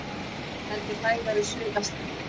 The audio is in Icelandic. Heldur hægari suðvestanlands